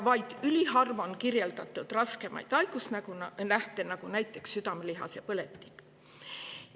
Vaid üliharva on kirjeldatud raskemaid haigusnähte, näiteks südamelihase põletikku.